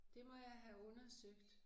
Det må jeg have undersøgt